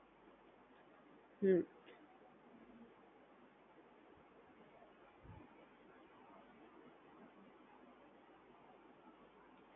આ સોએસો ટકા તમારા થી બંને application જોડે ચાલુ રાખી શકાય છે અને યુઝ કરી શકાય છે બંને application માં બંને તમારો એક જ account હોય તો એ બંને application તમે એક જ No account usage કરી શકો છો